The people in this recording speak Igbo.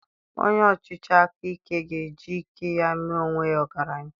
Onye ọchịchị aka ike ga-eji ike ya mee onwe ya ọgaranya